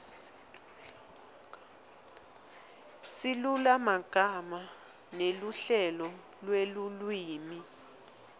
silulumagama neluhlelo lwelulwimi